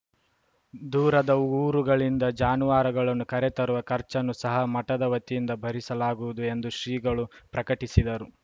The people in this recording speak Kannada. ದೂರದ ಊರುಗಳಿಂದ ಜಾನುವಾರುಗಳನ್ನು ಕರೆತರುವ ಖರ್ಚನ್ನು ಸಹ ಮಠದ ವತಿಯಿಂದ ಭರಿಸಲಾಗುವುದು ಎಂದು ಶ್ರೀಗಳು ಪ್ರಕಟಿಸಿದರು